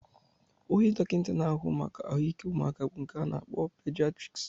Onye dọkịta na-ahụ maka ahụike ụmụaka bụ nke a na-akpọ pidiatriks